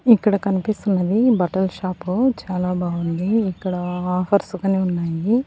ఇక్కడ కనిపిస్తున్నది బట్టల షాపు చాలా బావుంది ఇక్కడ ఆఫర్స్ గానీ ఉన్నాయి.